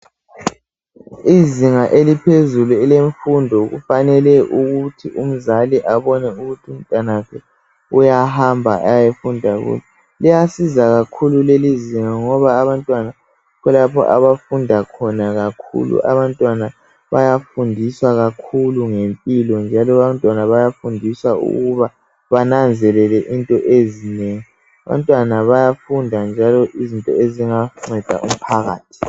Izinga eliphezulu elemfundo, kufanele ukuthi umzali abone ukuthi umntanakhe uyahamba ayefunda kulo. Liyasiza kakhulu lelizinga, ngoba abantwana yikho lapha abantwana abafunda khona kakhulu!. Abantwana bayafunda kakhulu ngempilo, njalo abantwana bayafundiswa ukuba bananzelele izinto ezinengi. Abantwana bayafunda ngezinto ezinganceda umphakathi.